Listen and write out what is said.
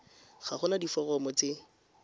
ga go na diforomo tse